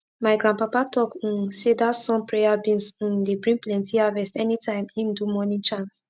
my grandpapa talk um say dat sun prayer beans um dey bring plenti harvest anytime im do morning chant